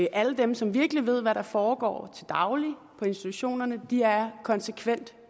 alle dem som virkelig ved hvad der foregår til daglig på institutionerne er konsekvent